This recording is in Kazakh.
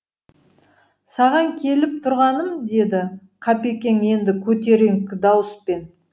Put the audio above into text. саған келіп тұрғаным деді қапекең енді көтеріңкі дауыспен